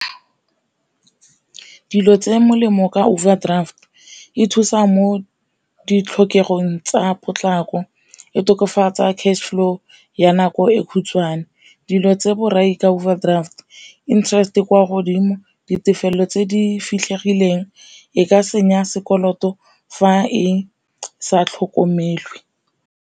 Dilo tse molemo ka overdraft e thusa mo ditlhokegong tsa potlako, e tokafatsa cash flow ya nako e khutshwane. Dilo tse borai ka overdraft interest e kwa godimo, ditefelelo tse di fitlhegileng e ka senya sekoloto fa e sa tlhokomele.